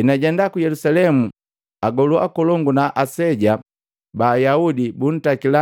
Enajenda ku Yelusalemu agolu akolongu na aseja ba Ayaudi buntakila